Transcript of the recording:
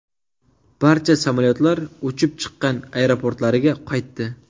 Barcha samolyotlar uchib chiqqan aeroportlariga qaytdi.